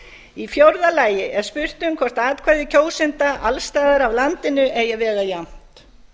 í fjórða lagi er spurt um hvort atkvæði kjósenda alls staðar að landinu eigi að vega jafnt